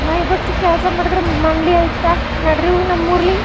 ಮೈ ಬಗ್ಸಿ ಕೆಲ್ಸ್ ಮಾಡದ್ರೆ ಮಗ್ಲ್ ಆಯ್ತಾ ನಡ್ರಿ ನಮ್ಮ್ ಉರ್ಲಿ.